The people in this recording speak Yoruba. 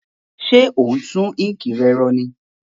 Sé o n tun ink re ro ní